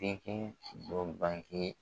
dɔ bange